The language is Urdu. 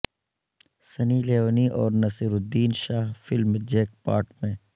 سنی لیونی اور Naseeruddin Shah film jackpot میں